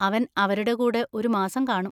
അവൻ അവരുടെ കൂടെ ഒരു മാസം കാണും.